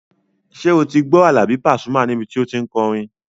Ṣé o ti gbọ́ Àlàbí Pasuma níbi tí o tí n kọrin?